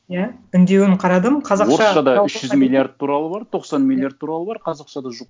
иә үндеуін қарадым қазақша үш жүз миллиард туралы бар тоқсан миллиард туралы бар қазақшада жоқ